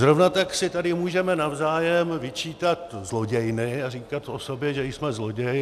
Zrovna tak si tady můžeme navzájem vyčítat zlodějny a říkat o sobě, že jsme zloději.